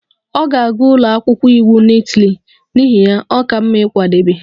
Ọ ga-aga ụlọ akwụkwọ iwu na Itali, n'ihi ya, ọ ka mma ịkwadebe